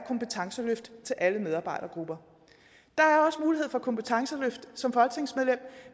kompetenceløft til alle medarbejdergrupper der er også mulighed for kompetenceløft som folketingsmedlem